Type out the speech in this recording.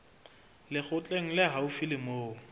lekgotleng le haufi le moo